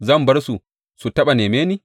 Zan bar su, su taɓa nemi ni?